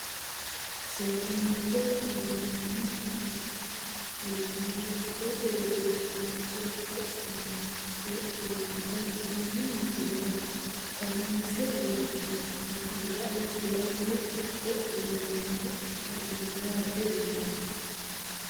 Sedaancho galani mine minani gudate widira hinge ha`nani heenonota tene misilera kayiinse worooni foto lae kulate wonaalomoha ikano yaate yeemo.